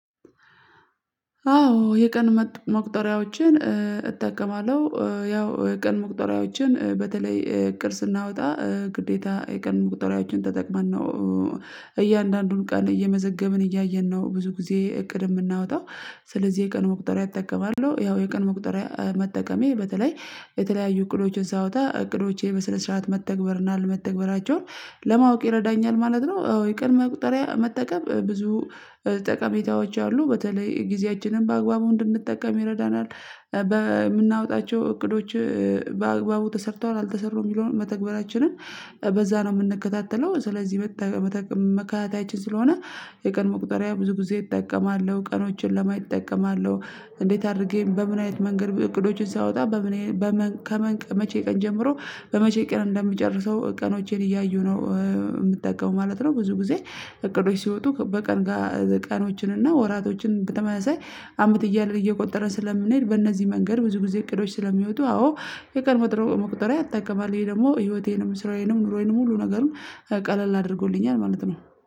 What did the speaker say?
አዎ የቀን መቁጠሪያዎችን እጠቀማለሁ። ያው የቀን መቁጠሪያዎችን በተለይ እቅድ ስናወጣ ግዴታ የቀን መቁጠሪያዎችን ተጠቅመን ነው። እያንዳንዱን ቀን እየመዘገብን እያየን ነው ብዙ ጊዜ እቅድ የምናወጣው ስለዚህ የቀን መቁጠሪያ እጠቀማለሁ ያው የቀን መቁጠሪያ መጠቀሜ በተለይ የተለያዩ እቅዶችን ሳወጣ እቅዶቼ በስነ ስርዓት መተግበርና አለመተግበራቸውን ለማወቅ ይረዳኛል ማለት ነው። አዎ የቀን መቁጠሪያ መጠቀም ብዙ ጠቀሜታዎች አሉ በተለይ ጊዜያችንን በአግባቡ እንድንጠቀም ይረዳናል። በምናወጣቸው እቅዶች በአግባቡ ተሰርተዋል አልተሰሩም የሚለውን መተግበራችንን በዛ ነው የምንከታተለው ስለዚህ መጠቀም መከታተያችን ስለሆነ። የቀን መቁጠሪያ ብዙ ጊዜ እጠቀማለሁ ቀኖችን እጠቀማለሁ። እንዴት አድርጌ በምን አይነት መንገድ እቅዶችን ሳወጣ በምን ከመቼ ቀን ጀምሮ በመቼ ቀን እንደምጨርሰው ቀኖቼን እያዩ ነው የምትጠቀመው ማለት ነው? ብዙ ጊዜ እቅዶች ሲወጡ በቀን ቀኖችን እና ወራቶችን በተመሳሳይ አመት እያለ እየቆጠረ ስለምንሄድ በእነዚህ መንገድ ብዙ ጊዜ እቅዶች ስለሚወጡ አዎ የቀን መቁጠሪያ ያጠቀማል። ይሄ ደግሞ ህይወቴንም ስራዬንም ኑሮዬንም ሁሉ ነገርም ቀለል አድርጎልኛል ማለት ነው